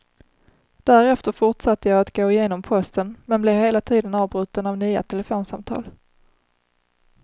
Därefter fortsatte jag att gå igenom posten men blev hela tiden avbruten av nya telefonsamtal.